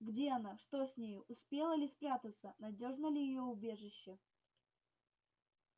где она что с нею успела ли спрятаться надёжно ли её убежище